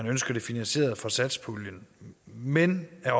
ønsker det finansieret fra satspuljen men jeg